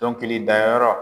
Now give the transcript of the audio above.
Dɔnkilidayɔrɔ